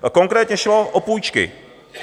Konkrétně šlo o půjčky.